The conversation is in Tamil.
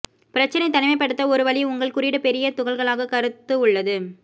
பிரச்சனை தனிமைப்படுத்த ஒரு வழி உங்கள் குறியீடு பெரிய துகள்களாக கருத்து உள்ளது